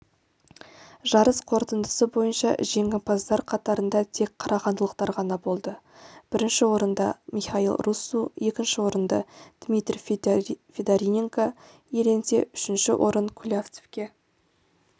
жарыс қорытындысы бойынша жеңімпаздар қатарында тек қарағандылықтар ғана болды бірінші орынды михаил руссу екінші орынды дмитрий федориненко иеленсе үшінші орын кулявцевке